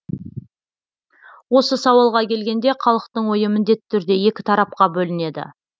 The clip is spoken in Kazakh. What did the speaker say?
осы сауалға келгенде халықтың ойы міндетті түрде екі тарапқа бөлінеді